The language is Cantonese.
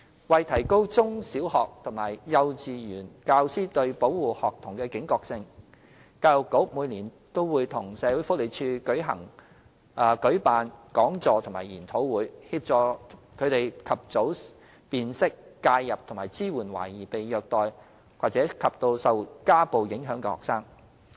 為提高中、小學及幼稚園教師對保護學童的警覺性，教育局每年均會與社署合作舉辦講座及研討會，協助他們及早辨識、介入及支援懷疑被虐待及受家暴影響的學生。